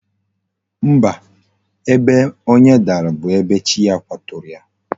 Mba, ebe onye dara bu ebe chi ya kwaturu ya